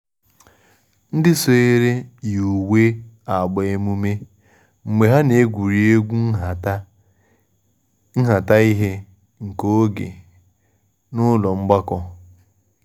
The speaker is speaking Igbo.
Ndị sonyere yi uwe agba emume mgbe ha na-egwuri egwu nhata ihe nke oge a n’ụlọ mgbakọ